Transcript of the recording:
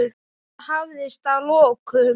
En það hafðist að lokum.